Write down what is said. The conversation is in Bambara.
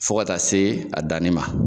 Fo ka taa se a danni ma.